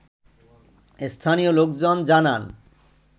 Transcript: স্থানীয় লোকজন জানান